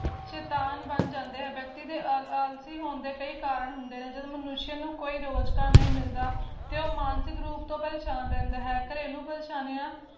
ਸ਼ੇਤਾਨ ਬਣ ਜਾਂਦੇ ਵਿਅਕਤੀ ਦੇ ਆਲਸੀ ਹੋਣ ਦੇ ਕਈ ਕਾਰਨ ਹੁੰਦੇ ਰਹਿੰਦੇ ਹਨ ਮਨੁੱਸ਼ ਨੂੰ ਕੋਈ ਰੋਜਗਾਰ ਨਹੀਂ ਮਿਲਦਾ ਤੋ ਉਹ ਮਾਨਸਿਕ ਰੁਪ ਤੋਂ ਪ੍ਰੇਸ਼ਾਨ ਰਹਿੰਦਾ ਹੈ ਘਰੇਲੂ ਪ੍ਰੇਸ਼ਾਨੀਆਂ